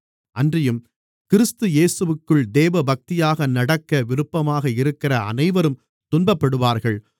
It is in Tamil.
அன்றியும் கிறிஸ்து இயேசுவிற்குள் தேவபக்தியாக நடக்க விருப்பமாக இருக்கிற அனைவரும் துன்பப்படுவார்கள்